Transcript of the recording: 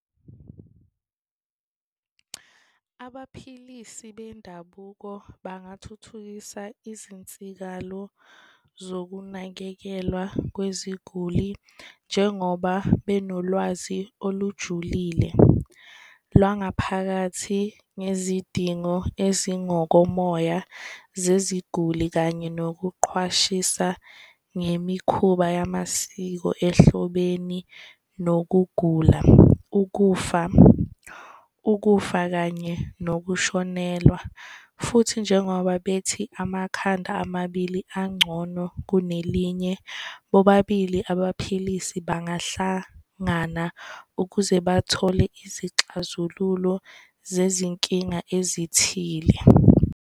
Abaphilisi bendabuko bangathuthukisa izinsikalo zokunakekelwa kweziguli njengoba benolwazi olujulile lwangaphakathi ngezidingo ezingokomoya zeziguli kanye nokuqhwashisa ngemikhuba yamasiko ehlobeni nokugula. Ukufa, ukufa kanye nokushonelwa futhi njengoba bethi amakhanda amabili angcono kunelinye, bobabili abaphilisi bahlangana ukuze bathole izixazululo zezinkinga ezithile.